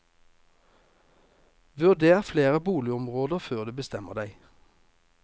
Vurder flere boligområder før du bestemmer deg.